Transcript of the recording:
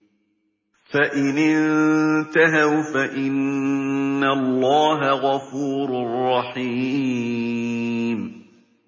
فَإِنِ انتَهَوْا فَإِنَّ اللَّهَ غَفُورٌ رَّحِيمٌ